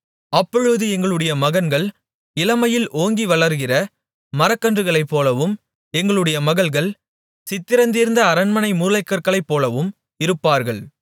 அப்பொழுது எங்களுடைய மகன்கள் இளமையில் ஓங்கி வளருகிற மரக்கன்றுகளைப்போலவும் எங்களுடைய மகள்கள் சித்திரந்தீர்ந்த அரண்மனை மூலைக்கற்களைப்போலவும் இருப்பார்கள்